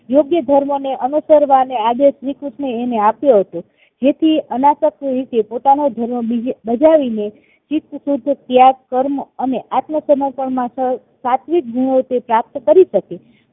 યોગ્ય ધર્મને અનુસરવાનો આદેશ શ્રી કૃષ્ણ એ એને આપ્યો હતો જેથી અનાસક રીતે પોતાનો ધર્મ બજાવીને ચિત્તશુદ્ધ ત્યાગ કર્મ અને આત્મ સમર્પણ માં સાત્વિક ગુણો તે પ્રાપ્ત કરી શકે